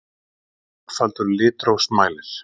Einfaldur litrófsmælir.